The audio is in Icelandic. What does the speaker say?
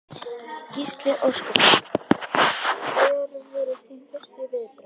Gísli Óskarsson: Hver voru þín fyrstu viðbrögð?